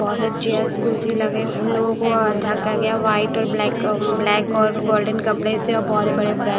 बहुत चेयर्स कुर्सी लगे उन लोगों को अधका गया वाइट और ब्लैक ब्लैक और गोल्डन कपड़े से और बड़े बड़े बैग --